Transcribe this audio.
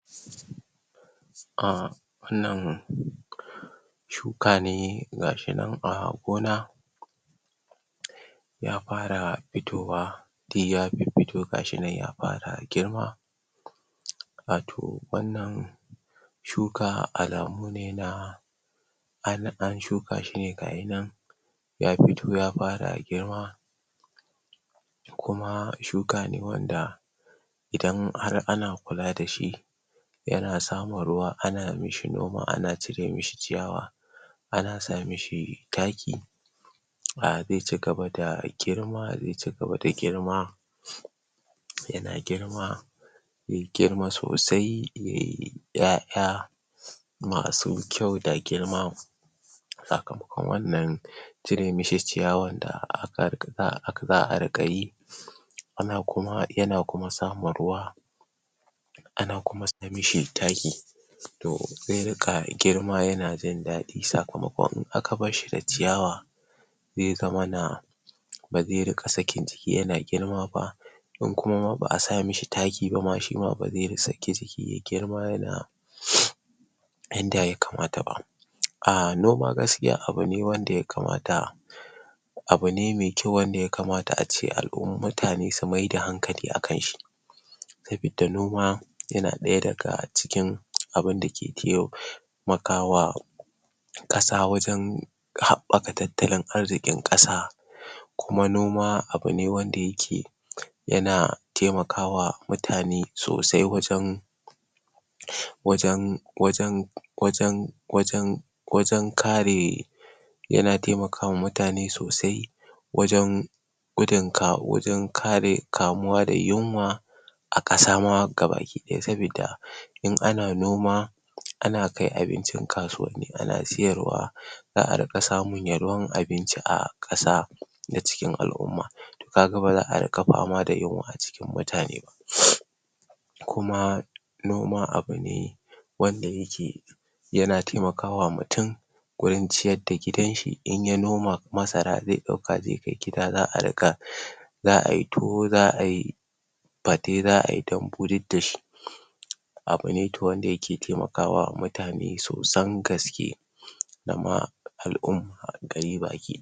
ahh wannan kifi ne gasu nan? kifi ne da ake kiran shi da tarwatsa? wannan kifi ana kiwata shi a gurare da dama kaman a a gidan gona ana kiwata wannan kifi za'a kaga an masu rami za'a su a wannan rami za'a zuba ruwa za'a riƙa ana basu abinci ana basu abinci ana kuma canza musu ana canza ruwan da ke ake sa musu akai akai sabida shi kifi daman a cikin ruwa yake rayuwa shi a cikin ruwa yake rayuwar shi toh shiyasa za'a sa musu ruwa ne a riƙa sa su a sa su a ciki ana kuma basu abinci sannan kuma kaman shi ana kiwan shi a cikin kududdufi a du wanda ake kiwansu a cikin kududdufi gaskiya ba'a canja masu ruwa kawai dai ana ana ba su abinci ne ana ba su abinci suna girma gaskiya su ba'a canja masu ruwa hakanan wanda ake samosu a cikin rafuka ma haka suma a cikin rafuka ana samun wannan kifi sosai ahh shi kifi? na wani nama ne wanda ana cin shi mutane suna cin kifi sosan gaske kuma yana da shima amfani a jiki wanda anacin shi ne in aka soya shi wanda soya shi akeyi sannan a riƙa cin shi ahtoh ka siya zakan iya zuwa sai wannan kifi ka je da shi gida a soya maka shi sannan kuma aka sa shi acikin abinci ayi girki ayi girki da ayi girki dashi a cikin abinci kamar a sahi a miyar tuwo haka ko miyan shinkafa ko a shinkafa jalof ma duk ana kifi ma ana amfaani dashi sosai ahh mutane suna cin ke wannan kifi sosai wanda kuma a kifin ma kalakala ne akwai tarwaɗa akwai karfashe to wannan shi tarwatse ne shine ake ce ma tarwatsa wannan